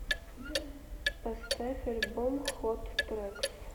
поставь альбом хот трэкс